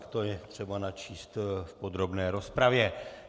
... tak to je třeba načíst v podrobné rozpravě.